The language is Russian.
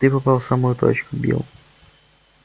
ты попал в самую точку билл